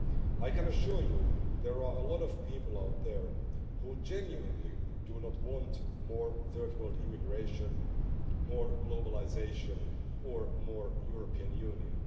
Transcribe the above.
I can assure you there are a lot of people out there who genuinely do not want more third-world immigration, more globalisation or more European Union.